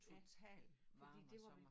Totalt varme og sommer